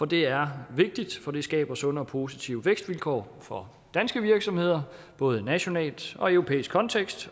det er vigtigt for det skaber sunde og positive vækstvilkår for danske virksomheder både nationalt og i europæisk kontekst